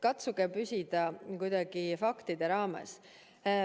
Katsuge püsida kuidagi faktide raames.